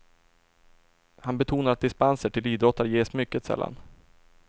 Han betonar att dispenser till idrottare ges mycket sällan.